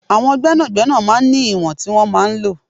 Àwọn gbẹ́nàgbẹ́nà máa ń ní ìwọ̀n tí wọn máa ń lọ.